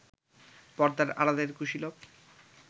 পর্দার আড়ালের কুশীলব